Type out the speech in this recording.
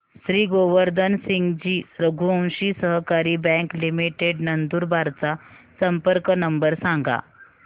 श्री गोवर्धन सिंगजी रघुवंशी सहकारी bank limited Nandurbar चा संपर्क नंबर सांगा